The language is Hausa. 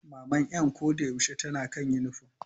Maman 'yan ko da yaushe tana kan yunifom.